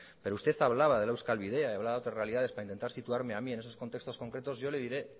pero usted hablaba de la euskal bidea y hablaba de otras realidades para intentar situarme a mí en esos contextos concretos yo le diré